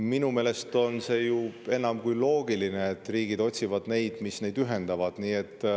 Minu meelest on enam kui loogiline, et riigid otsivad seda, mis neid ühendab.